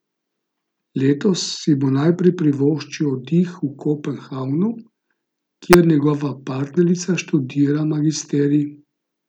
Letos si bo najprej privoščil oddih v Kopenhagnu, kjer njegova partnerica študira magisterij.